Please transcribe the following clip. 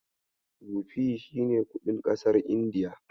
Rufi shi ne kuɗin ƙasar Indiya.